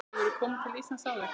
Hefurðu komið til Íslands áður?